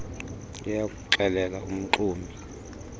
liya kuxelela umxumi